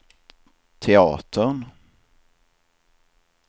teatern